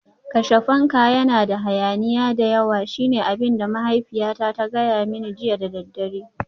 Kashe fanka, yana da hayaniya da yawa shine abin da mahaifiyata ta gaya mani jiya da daddare